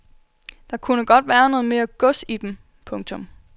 Der kunne godt være noget mere gods i dem. punktum